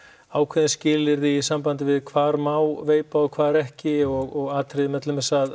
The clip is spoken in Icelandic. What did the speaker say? ákveðin skilyrði í sambandi við hvar má veipa og hvar ekki og atriði með til dæmis að